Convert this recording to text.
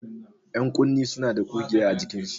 Ƴankunne suna da ƙugiya a jikinsu.